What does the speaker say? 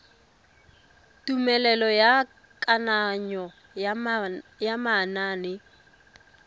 tumelelo ya kananyo ya manane